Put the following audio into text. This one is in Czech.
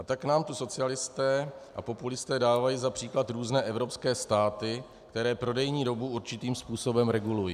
A tak nám tu socialisté a populisté dávají za příklad různé evropské státy, které prodejní dobu určitým způsobem regulují.